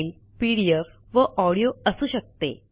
file PDF वा audio असू शकते